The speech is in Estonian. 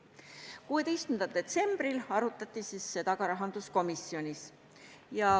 16. detsembril arutati seda rahanduskomisjonis.